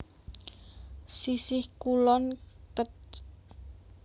Sisihh Kulon Kec